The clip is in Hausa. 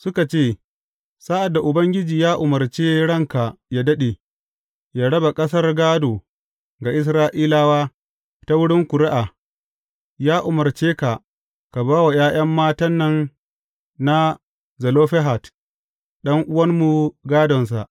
Suka ce, Sa’ad da Ubangiji ya umarce ranka yă daɗe, yă raba ƙasar gādo ga Isra’ilawa ta wurin ƙuri’a, ya umarce ka, ka ba wa ’ya’ya matan nan na Zelofehad ɗan’uwanmu gādonsa.